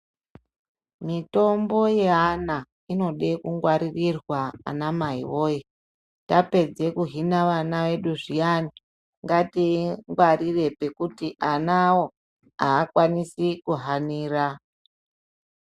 Mitombo yeana inode kugwaririrwa anamai voye. Tapedze kuhina vana vedu zviyani ngatiingwarire pekuti anavo hakwanisi kuhanira